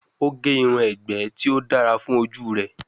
O ge irun egbe ti o dara fun oju rẹ.